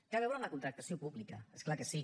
té a veure amb la contractació pública és clar que sí